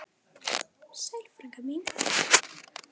Sæl frænka mín.